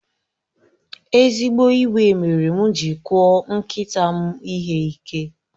Ezigbo iwe mere m ji kụọ nkịta m ihe ike.